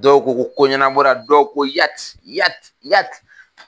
Dɔw ko ko ko ɲɛna bɔra dɔw ko Yati Yati Yati